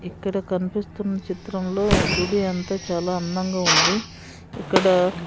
ఇక్కడ కన్పిస్తున్న చిత్రంలో గుడి అంతా చాలా అందంగా ఉంది ఇక్కడ --